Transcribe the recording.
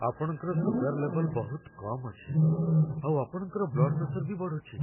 ଆପଣଙ୍କର ସୁଗାର ଲେବଲ୍ ବହୁତ କମ୍ ଅଛି, ଆଉ ଆପଣଙ୍କ ବ୍ଲଡ଼୍ ପ୍ରେସର ବି ବଢ଼ୁଚି ।